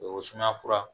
O sumaya fura